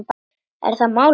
Er það málið?